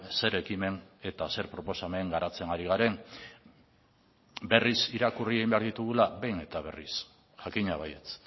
zer ekimen eta zer proposamen garatzen ari garen berriz irakurri egin behar ditugula behin eta berriz jakina baietz